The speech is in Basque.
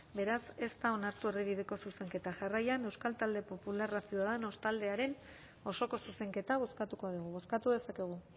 beraz ez da onartu erdibideko zuzenketa jarraian euskal talde popularra ciudadanos taldearen osoko zuzenketa bozkatuko dugu bozkatu dezakegu